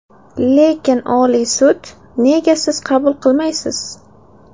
Lekin Oliy sud, nega siz qabul qilmaysiz?